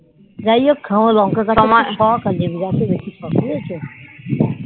যাই হোক লঙ্কা খাবার বেশি শোক